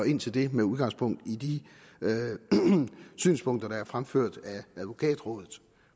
ind til det med udgangspunkt i de synspunkter der er fremført af advokatrådet